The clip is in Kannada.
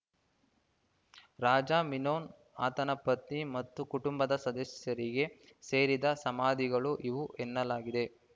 ರಾಜ ಮಿನೋನ್ ಆತನ ಪತ್ನಿ ಮತ್ತು ಕುಟುಂಬದ ಸದಸ್ಯರಿಗೆ ಸೇರಿದ ಸಮಾಧಿಗಳು ಇವು ಎನ್ನಲಾಗಿದೆ